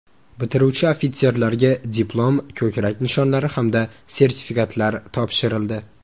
Bitiruvchi ofitserlarga diplom, ko‘krak nishonlari hamda sertifikatlar topshirildi.